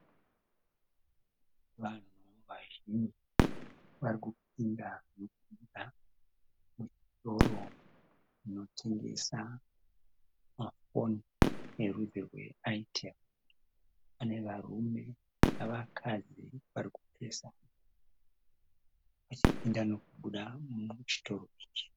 Vanhu vazhinji varikupinda nokubuda muchitoro chinotengesa mafoni erudzi rweAitewo. Panevarune nevakadzi varikupesana vachipinda nokubuda muchitoro ichi.